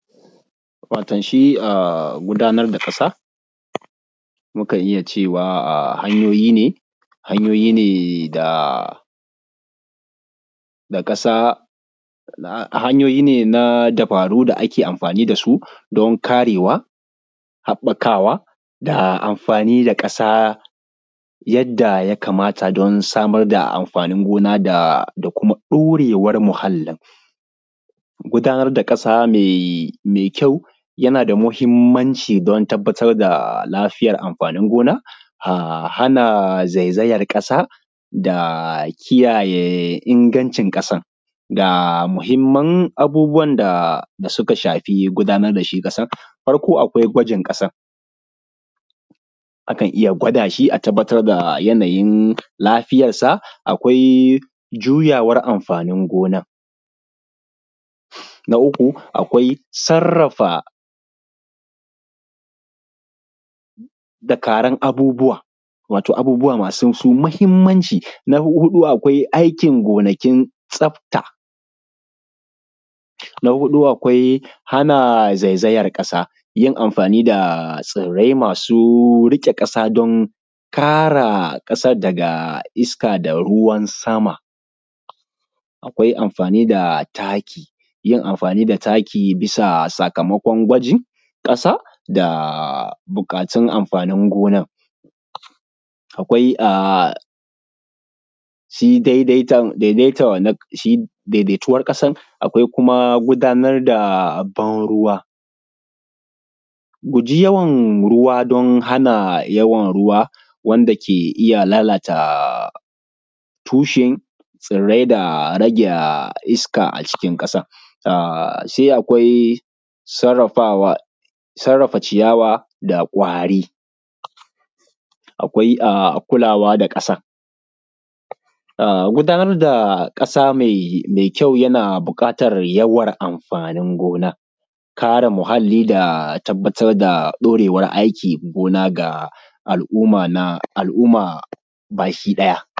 Wato shi a gudanar da ƙasa, mukan iya cewa a hanyoyi ne hanyoyi ne da da ƙasa a hanyoyi ne na dabaru da ake amfani da su don karewa, haɓɓakawa da amfani da ƙasa yadda ya kamata don samar da amfanin gona da kuma ɗorewar muhallin, gudanar da ƙasa mai mai kyau yana da muhimmanci don tabbatar da lafiyar amfanin gona a hana zaizaiyar ƙasa da kiyaye ingancin ƙasan, ga muhimman abubuwan da suka shafi gudanar da shi ƙasan, farko akwai gwajin ƙasan, akan iya gwada shi a tabbatar da yanayin lafiyar sa, akwai juyawar amfanin gonan, na uku, akwai sarrafa dakaran abubuwa wato abubuwa masu su mahimmanci, na huɗu, akwai aikin gonakin tsafta, na huɗu akwai hana zaizaiyar ƙasa yin amfani da tsirai masu riƙe ƙasa don kare ƙasan daga iska da ruwan sama, akwai amfani da taki, yin amfani da taki bisa sakamakon gwajin ƙasa da buƙatun amfanin gonan, akwai a shi daidaitan daidaitan wannan ƙasan shi daidaituwar ƙasan, akwai kuma gudanar da ban ruwa, guji yawan ruwa don hana yawan ruwa wanda ke iya lalata tushen tsirai da rage iska a cikin ƙasan, sai akwai sarrafawa sarrafa ciyawa da ƙwari, akwai kulawa da ƙasan a gudanar da ƙasa mai mai kyau yana buƙatar yawan amfanin gona kare muhalli da tabbatar da ɗorewar aikin gona ga al`umma na al`umma